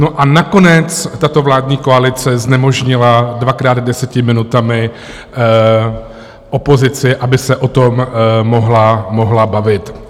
No a nakonec tato vládní koalice znemožnila dvakrát deseti minutami opozici, aby se o tom mohla bavit.